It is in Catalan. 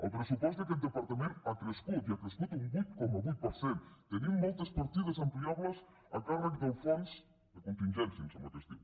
el pressupost d’aquest departament ha crescut i ha crescut un vuit coma vuit per cent tenim moltes partides ampliables a càrrec del fons de contingència em sembla que es diu